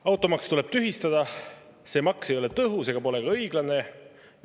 Automaks tuleb tühistada, see maks ei ole tõhus ega pole ka õiglane.